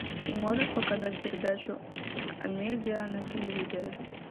ты можешь показать передачу амедиа на телевизоре